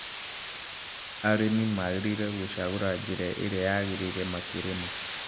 Arĩmi magĩrĩirũo gũcagũra njĩra ĩria yagĩrĩire makĩrĩa